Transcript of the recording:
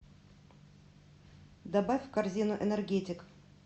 добавь в корзину энергетик